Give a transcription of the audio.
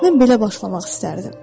Mən belə başlamaq istərdim.